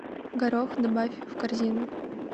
горох добавь в корзину